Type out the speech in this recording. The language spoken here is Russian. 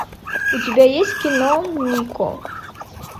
у тебя есть кино нико